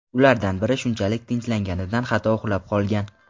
Ulardan biri shunchalik tinchlanganidan hatto uxlab qolgan.